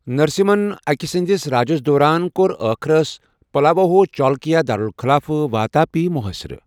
نرسِمہن اکہ سٕندِس راجس دوران ، کور ٲخرس پلواہو چالُکیا دارُلخلافہٕ واتاپی محاصرٕ ۔